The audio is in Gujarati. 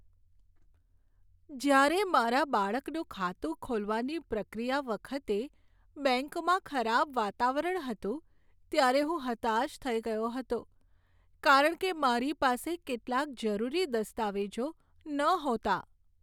જ્યારે મારા બાળકનું ખાતું ખોલવાની પ્રક્રિયા વખતે બેંકમાં ખરાબ વાતાવરણ હતું ત્યારે હું હતાશ થઈ ગયો હતો કારણ કે મારી પાસે કેટલાક જરૂરી દસ્તાવેજો નહોતા.